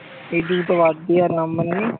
এই দুটো বাদ দিয়ে আর নেই?